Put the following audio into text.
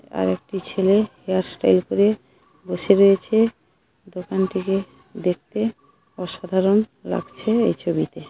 আরেকটি ছেলে hair style করে বসে রয়েছে দোকান টিকে দেখতে অসাধারণ লাগছে এই ছবিতে।